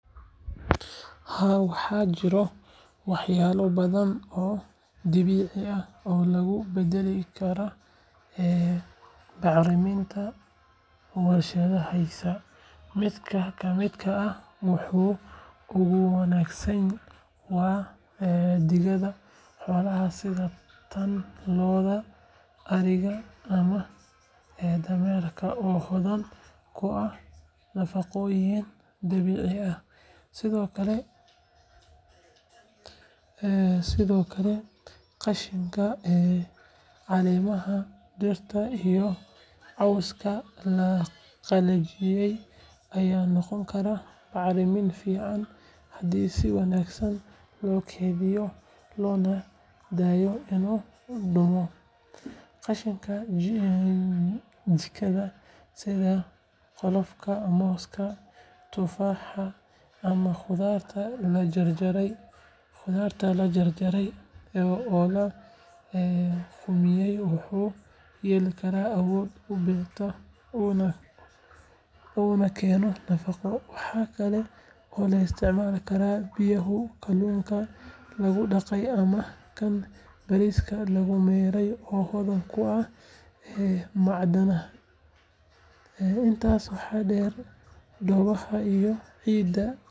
Haa, waxaa jira waxyaabo badan oo dabiici ah oo lagu beddeli karo bacriminta warshadaysan. Mid ka mid ah kuwa ugu wanaagsan waa digada xoolaha sida tan lo’da, ariga ama dameeraha oo hodan ku ah nafaqooyin dabiici ah. Sidoo kale qashinka caleemaha dhirta iyo cawska la qalajiyey ayaa noqon kara bacrimin fiican haddii si wanaagsan loo keydiyo loona daayo inuu qudhmo. Qashinka jikada sida qolofka mooska, tufaaxa, ama khudaarta la jarjaray oo la qudhmiyay wuxuu leeyahay awood uu beerta ugu keeno nafaqo. Waxaa kale oo la isticmaali karaa biyaha kalluunka lagu dhaqay ama kan bariiska lagu mayray oo hodan ku ah macdanaha. Intaas waxaa dheer, dhoobada iyo ciidda kaydka ah.